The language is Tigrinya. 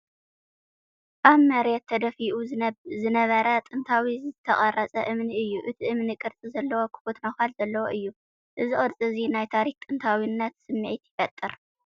ኣብ መሬት ተደፊኡ ዝነበረ ጥንታዊ ዝተቐርጸ እምኒ እዩ። እቲ እምኒ ቅርጺ ዘለዎን ክፉት ነዃል ዘለዎን እዩ። እዚ ቅርጺ እዚ ናይ ታሪኽን ጥንታዊነትን ስምዒት ይፈጥር።